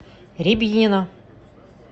рябинина